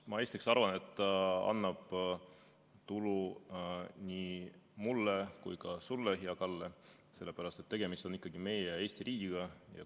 Ma esiteks arvan, et see annab tulu nii mulle kui ka sulle, hea Kalle, sellepärast et tegemist on ikkagi meie Eesti riigiga.